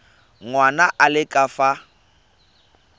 ngwana a le ka fa